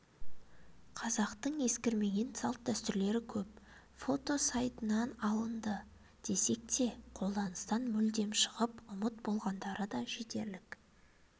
қазақтың ескірмеген салт-дәстүрлері көп фото сайтынан алыынды десек те қолданыстан мүлдем шығып ұмыт болғандары да жетерлік